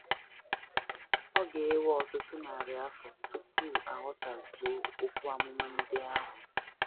Ọ ga - ewe ọtụtụ narị afọ tupu a ghọtazuo okwu amụma ndị ahụ.